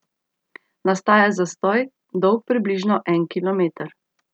Nastaja zastoj, dolg približno en kilometer.